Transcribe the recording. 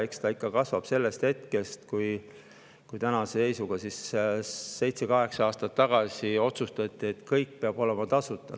Eks need kasvavad sellest hetkest, kui seitse-kaheksa aastat tagasi otsustati, et kõik peab olema tasuta.